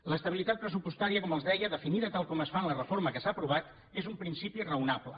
l’estabilitat pressupostària com els deia definida tal com es fa en la reforma que s’ha aprovat és un principi raonable